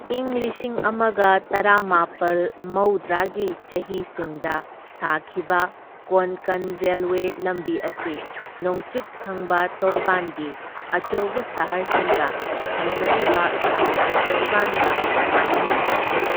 ꯢꯪ ꯂꯤꯁꯤꯡ ꯑꯃꯒ ꯇꯔꯥꯃꯥꯄꯜ ꯃꯧꯗ꯭ꯔꯥꯒꯤ ꯆꯍꯤꯁꯤꯡꯗ ꯁꯥꯈꯤꯕ ꯀꯣꯟꯀꯟ ꯔꯦꯜꯋꯦ ꯂꯝꯕꯤ ꯑꯁꯤ ꯅꯣꯡꯆꯨꯞ ꯊꯪꯕ ꯇꯣꯔꯕꯥꯟꯒꯤ ꯑꯆꯧꯕ ꯁꯍꯔꯁꯤꯡꯒ ꯁꯝꯅꯔꯤꯕ ꯁꯃꯨꯗ꯭ꯔ ꯇꯣꯔꯕꯥꯟꯒ ꯃꯥꯟꯅꯅ ꯆꯠꯂꯤ꯫